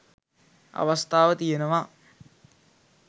අවස්ථාව තියෙනවා.